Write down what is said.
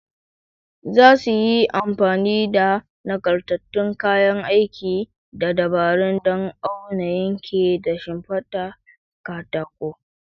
Za su yi amfani da nagartattun kayan aiki da dabaru don aunawa, yanke, da siffata katako